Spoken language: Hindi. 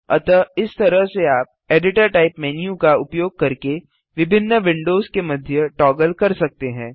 अतः इस तरह से आप एडिटर टाइप मेन्यू का उपयोग करके विभिन्न विंडोज के मध्य टॉगल कर सकते हैं